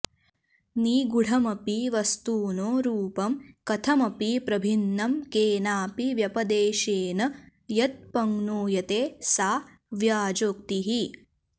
निगूढमपि वस्तुनो रूपं कथमपि प्रभिन्नं केनापि व्यपदेशेन यदपङ्नूयते सा व्याजोक्तिः